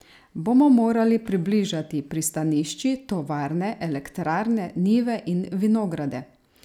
Bomo morali približati pristanišči, tovarne, elektrarne, njive in vinograde?